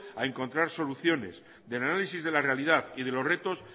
a encontrar soluciones del análisis de la realidad de los retos